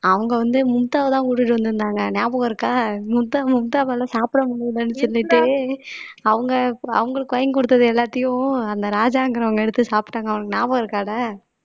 அவங்க வந்து மும்தாவைதான் கூட்டிட்டு வந்திருந்தாங்க ஞாபகம் இருக்கா மும்தா மும்தாவால சாப்பிட முடியலைன்னு சொல்லிட்டு அவங்க அவங்களுக்கு வாங்கி கொடுத்தது எல்லாத்தையும் அந்த ராஜாங்கிறவங்க எடுத்து சாப்பிட்டாங்க உனக்கு ஞாபகம் இருக்காடா